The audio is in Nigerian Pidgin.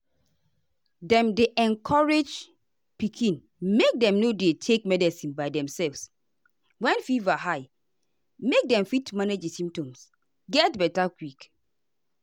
dem dey encourage pikin make dem no dey take medicine by demself when fever high make dem fit manage di symptoms get beta quick.